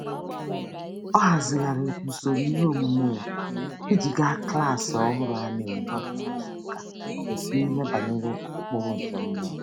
Ọ ahazigharịrị usoro iheomume ya iji ga klaasị ọhụrụ a na-enwe kwa izuụka n’ihe banyere ụkpụrụ nke mmụọ.